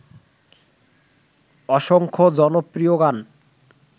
অসংখ্য জনপ্রিয় গান